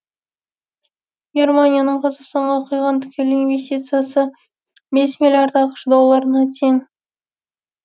германияның қазақстанға құйған тікелей инвестициясы бес миллиард ақш долларына тең